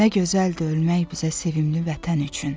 Nə gözəldir ölmək bizə sevimli vətən üçün.